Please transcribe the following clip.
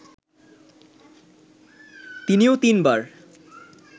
তিনিও তিনবার